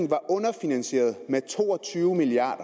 var underfinansieret med to og tyve milliard